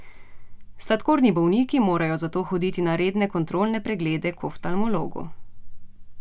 Sladkorni bolniki morajo zato hoditi na redne kontrolne preglede k oftalmologu.